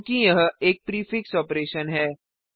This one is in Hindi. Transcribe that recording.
चूँकि यह एक प्रीफिक्स ऑपरेशन है